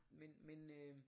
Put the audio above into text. Men men øh